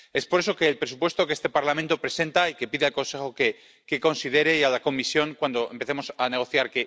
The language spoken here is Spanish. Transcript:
Por eso el presupuesto que este Parlamento presenta —y que pide al Consejo que considere, y a la Comisión, cuando empecemos a negociar